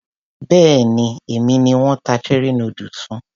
Béèni èmi ni wón ta cherie noodles fún.